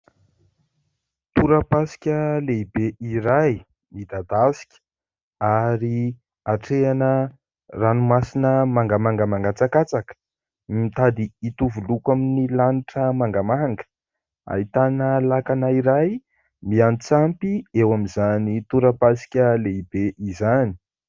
Torapasika lehibe iray midadasika ary hatrehana ranomasina mangamanga mangatsakatsaka, mitady hitovy loko amin'ny lanitra mangamanga, ahitana lakana iray miatsampy eo amin'izany torapasika lehibe izany.